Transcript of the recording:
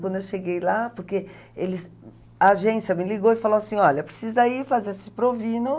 Quando eu cheguei lá, porque eles, a agência me ligou e falou assim, olha, precisa ir fazer esse provino.